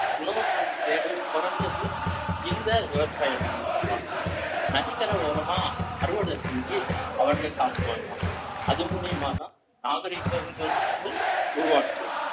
உணவுக்கான தேடல் குறைஞ்சது இந்த விவசாய மூலியமாத்தான் நதிக்கரை ஓரமா அறுவடை செஞ்சு அவர்களே சாப்பிட்டு வந்தான் அது மூலியமாதான் நாகரிகம்ன்றது உருவாகுது